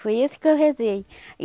Foi isso que eu rezei e.